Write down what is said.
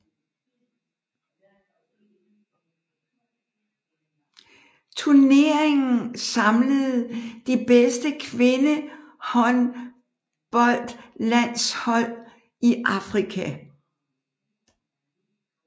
Turneringen samlede de bedste kvindehåndboldlandshold i Afrika